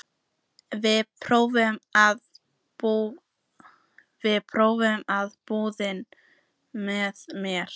Viltu prófa að búa með mér.